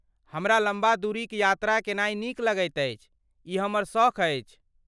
हमरा लम्बा दूरीक यात्रा केनाइ नीक लगैत अछि, ई हमर सख़ अछि।